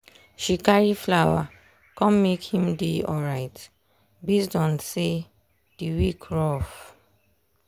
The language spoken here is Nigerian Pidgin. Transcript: she carry flower come make him dey alright based on say the week rough